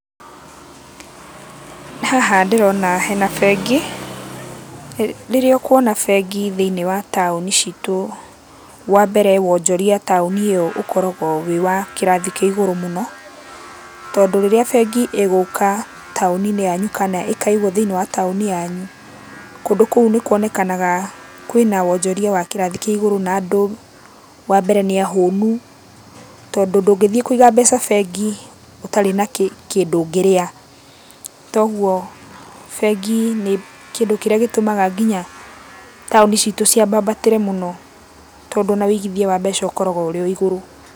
Haha ndĩrona hena bengi. Rĩrĩa ũkuona bengi thĩiniĩ wa taũni citũ, wambere wonjoria taũni ĩyo ũkoragũo wĩ wa kĩrathi kĩa igũrũ mũno, tondũ rĩrĩa bengi ĩgũka taũni-inĩ yanyu kana ĩkaigũo thĩiniĩ wa taũni yanyu, kũndũ kũu nĩkuonekanaga kwĩna wonjoria wa kĩrathi kĩa igũrũ, na andũ, wambere nĩahũnu, tondũ ndũngĩthiĩ kũiga mbeca bengi, ũtarĩ na kĩndũ ũngĩrĩa, toguo bengi nĩ kĩndũ kĩrĩa gĩtũmaga nginya, taũni citũ ciambambatĩre mũno, tondũ ona wĩigithia wa mbeca ũkoragũo ũrĩ o igũrũ.